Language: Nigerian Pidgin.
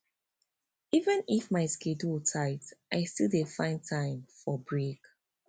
even if my schedule tight i still dey find time for break